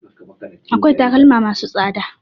Akwai takalma ma su tsada